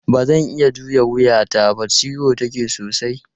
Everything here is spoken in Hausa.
Ba zan iya juya wuyata ba, ciwo take sosai.